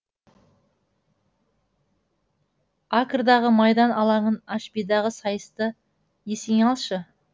акрдағы майдан алаңын ашбидағы сайысты есіңе алшы